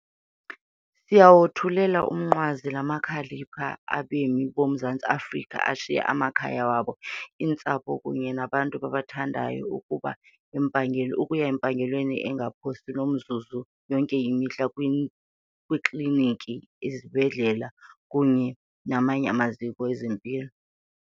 Siyawothulela umnqwazi la makhalipha abemi boMzantsi Afrika ashiya amakhaya wabo, iintsapho kunye nabo babathandayo ukuba ukuya empangelweni engaphosi nomzuzu yonke imihla kwiikliniki, izibhedlele kunye namanye amaziko ezempilo.